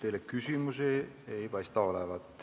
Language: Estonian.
Teile küsimusi ei ole.